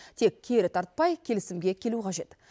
тек кері тартпай келісімге келу қажет